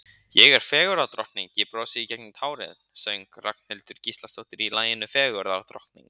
Ég er fegurðardrottning, ég brosi í gegnum tárin söng Ragnhildur Gísladóttir í laginu Fegurðardrottning.